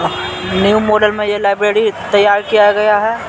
New model में यह library तैयार किया गया है।